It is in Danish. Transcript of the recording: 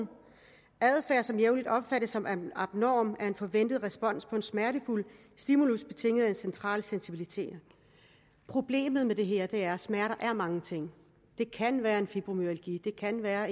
og adfærd som jævnligt opfattes som abnorm er en forventet respons på en smertefuld stimulus betinget af central sensibilisering problemet med det her er at smerter er mange ting det kan være en fibromyalgi det kan være